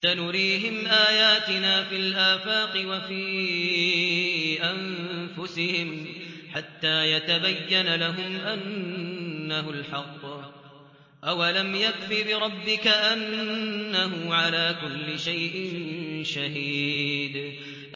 سَنُرِيهِمْ آيَاتِنَا فِي الْآفَاقِ وَفِي أَنفُسِهِمْ حَتَّىٰ يَتَبَيَّنَ لَهُمْ أَنَّهُ الْحَقُّ ۗ أَوَلَمْ يَكْفِ بِرَبِّكَ أَنَّهُ عَلَىٰ كُلِّ شَيْءٍ شَهِيدٌ